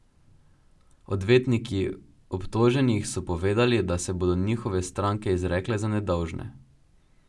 Odvetniki obtoženih so povedali, da se bodo njihove stranke izrekle za nedolžne.